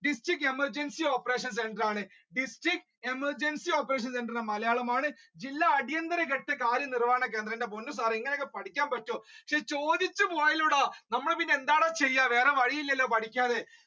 district emergency operation centre ആണ് district emergency operation centre ന്റെ മലയാളം ആണ് ജില്ലാ അടിയന്തര ഘട്ട കാര്യനിർവാഹണ കേന്ദ്രം എന്റെ പൊന്നു ഇങ്ങനെ ഒക്കെ പഠിക്കാൻ പറ്റോ ചോദിച്ചുപൊയ്യലോട നമ്മൾ ഇനി എന്താടാ ചെയ്യാ വേറെ വഴി ഇല്ലല്ലോ പഠിക്കാതെ